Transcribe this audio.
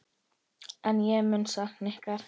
En ég mun sakna ykkar